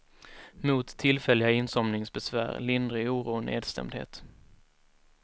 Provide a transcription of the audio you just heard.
Mot tillfälliga insomningsbesvär, lindrig oro och nedstämdhet.